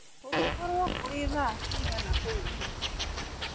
kũngikorwo kũri thaacigana kũũ india